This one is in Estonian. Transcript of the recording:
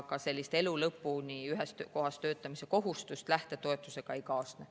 Aga sellist elu lõpuni ühes kohas töötamise kohustust lähtetoetusega ei kaasne.